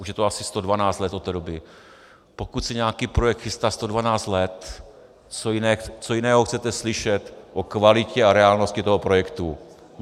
Už je to asi 112 let od té doby: Pokud se nějaký projekt chystá 112 let, co jiného chcete slyšet o kvalitě a reálnosti toho projektu?